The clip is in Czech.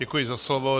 Děkuji za slovo.